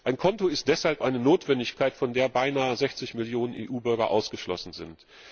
Ein Konto ist deshalb eine Notwendigkeit, von der beinahe 60 Millionen EU Bürger ausgeschlossen sind.